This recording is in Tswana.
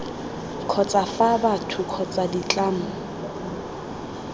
kgotsa fa batho kgotsa ditlamo